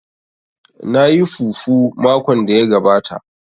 Na yi fufu makon da ya gabata